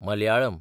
Malayalam